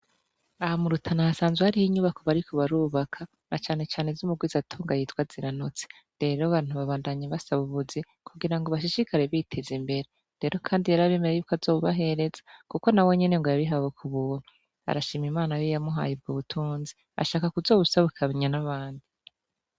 Ahamurutana ahasanzwe hariho inyubako bariko barubaka na canecane z' umugwizatonga yitwa zira notse rero bantu babandanyi basa bubuzi kugira ngo bashishikare biteza imbere rero, kandi yari abimera yubko azobahereza, kuko na we nyene ngo yabihawe ku buono arashima imana yoiyamuhayeibwa ubutunzi ashaka kuzowusabukaanya n'abandi.